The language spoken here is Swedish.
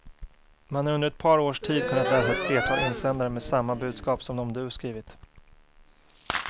Man har under ett par års tid kunnat läsa ett flertal insändare med samma budskap som de du skrivit.